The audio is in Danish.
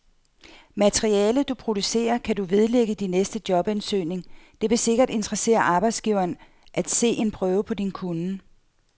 Materialet, du producerer, kan du vedlægge din næste jobansøgning, det vil sikkert interessere arbejdsgiveren at se en prøve på din kunnen.